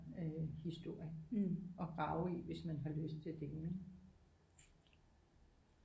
Øh historie at rage i hvis man har lyst til det ikke